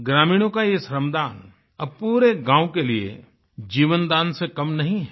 ग्रामीणों का ये श्रम दान अब पूरे गाँव के लिए जीवन दान से कम नहीं है